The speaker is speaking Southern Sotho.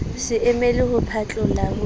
se emele ho phatloha ho